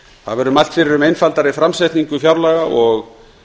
það verður mælt fyrir um einfaldari framsetningu fjárlaga og